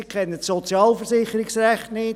sie kennen das Sozialversicherungsrecht nicht;